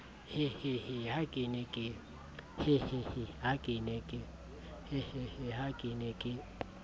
hehehe ha ke ne ke